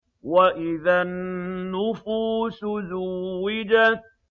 وَإِذَا النُّفُوسُ زُوِّجَتْ